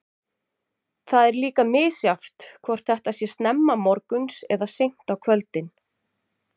Það er líka misjafnt hvort þetta sé snemma morguns eða seint á kvöldin.